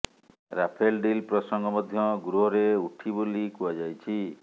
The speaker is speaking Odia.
ରାଫେଲ ଡିଲ୍ ପ୍ରସଙ୍ଗ ମଧ୍ୟ ଗୃହରେ ଉଠି ବୋଲି କୁହାଯାଉଛି